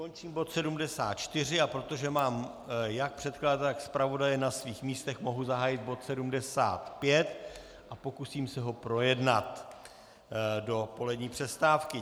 Končím bod 74, a protože mám jak předkladatele, tak zpravodaje na svých místech, mohu zahájit bod 75 a pokusím se ho projednat do polední přestávky.